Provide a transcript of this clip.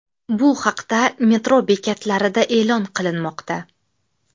Bu haqda metro bekatlarida e’lon qilinmoqda.